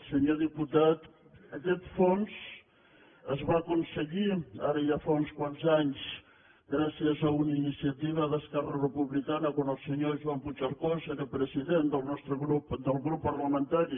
senyor diputat aquest fons es va aconseguir ara ja fa uns quants anys gràcies a una iniciativa d’esquerra republicana quan el senyor joan puigcercós era president del nostre grup parlamentari